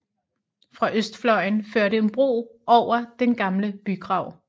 Fra østfløjen førte en bro over den gamle bygrav